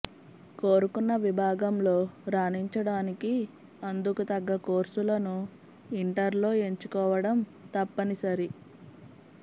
కోరుకున్న విభాగంలో రాణించడానికి అందుకు తగ్గ కోర్సులను ఇంటర్లో ఎంచుకోవడం తప్పనిసరి